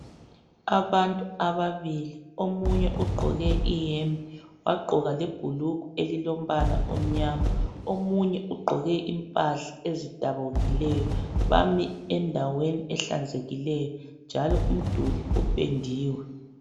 abantu ababili omunye ugqoke ihembe wagqoka lebhulugwe elilompala omnyama omunye ugqoke impahla ezidabukileyo bame endaweni ehlanzekileyo njalo umduli upendiwe